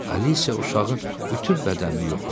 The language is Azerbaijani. Alisiya uşağın bütün bədənini yoxladı.